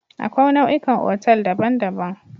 Akwai nau'ikan otal daban-daban.